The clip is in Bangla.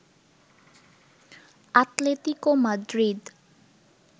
Atletico Madrid